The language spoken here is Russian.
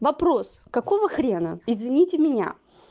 вопрос какого хрена извините меня